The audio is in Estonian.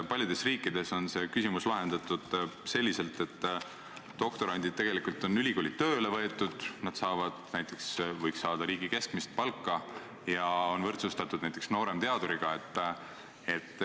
Paljudes riikides on see küsimus lahendatud nii, et doktorandid on ülikooli tööle võetud, nad saavad riigi keskmist palka ja on võrdsustatud näiteks nooremteaduriga.